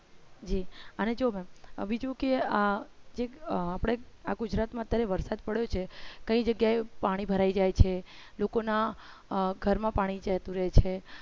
અને બીજું કે અ અપડા આ ગુજરાતમાં અત્યારે વરસાદ પડે છે કઈ જગ્યાએ પાણી ભરાઈ જાય છે લોકોના ઘરમાં પાણી જતું રહે છે